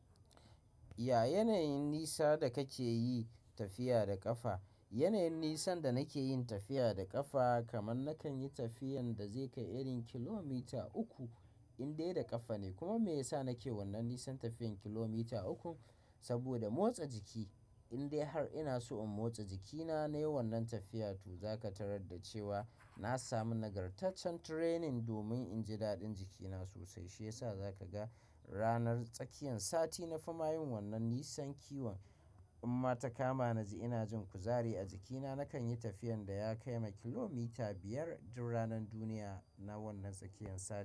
Ya yanayin nisa da kake yi tafiya da ƙafa? Yanayin nisan da nake yin tafiya da ƙafa kaman nakan yi tafiyan da zai kai irin kilomita uku in dai da ƙafa ne. Kuma me yasa nake wannan nisan tafiyan kilomita uku? Saboda motsa jiki. In dai har ina so in motsa jikina na yi wannan tafiya to za ka tarar da cewa na samu nagartaccen training domin in ji daɗin jikina sosai, shi yasa za ka ga ranar tsakiyan sati na fi mayun wannan nisan kiwon. In ma ta kama na ji ina jin kuzari a jikina, nakan yi tafiyan da ya kai makilomita biyar duk ranan duniya na wannan tsakiyan sati.